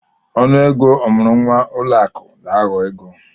Ọnụ ego ọmụrụ nwa ụlọ akụ na-aghọ egwu.